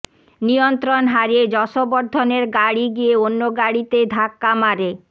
নিয়ন্ত্রণ হারিয়ে যশবর্ধনের গাড়ি গিয়ে অন্য গাড়িতে ধাক্কা মারে